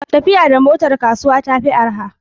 Tafiya da motar kasuwa ta fi araha.